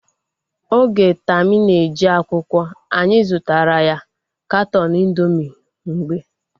Oge Tami na-eje akwụkwọ, anyị zụtara ya katọọnu indoomị mgbe